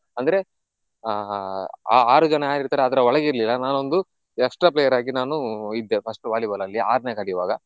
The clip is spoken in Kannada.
ಅಂದ್ರೆ ಆಹ್ ಆ ಆರುಜನ ಯಾರಿರ್ತಾರೆ ಅದ್ರ ಒಳಗೆ ಇರ್ಲಿಲ್ಲ ನಾನೊಂದು extra player ಆಗಿ ನಾನು ಇದ್ದೆ first Volleyball ಅಲ್ಲಿ ಆರ್ನೆ ಕಲಿಯುವಾಗ.